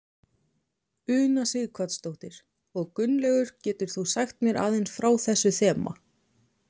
Una Sighvatsdóttir: Og Gunnlaugur getur þú sagt mér aðeins frá þessu þema?